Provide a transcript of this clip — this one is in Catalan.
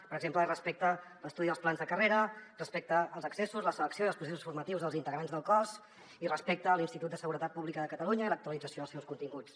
per exemple respecte a l’estudi dels plans de carrera respecte als accessos la selecció i els processos formatius dels integrants del cos i respecte a l’institut de seguretat pública de catalunya i l’actualització dels seus continguts